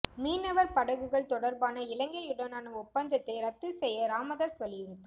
மீனவர் படகுகள் தொடர்பான இலங்கையுடனான ஒப்பந்தத்தை ரத்து செய்ய ராமதாஸ் வலியுறுத்தல்